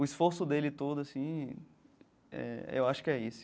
O esforço dele todo assim eh, eu acho que é esse